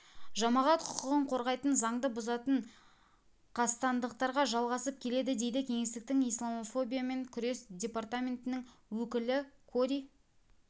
жамағат құқығын қорғайтын заңды бұзатын қастандықтарға жалғасып келеді дейді кеңестің исламофобиямен күрес департаментінің өкілі кори